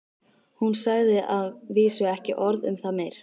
Hún sagði að vísu ekki orð um það meir.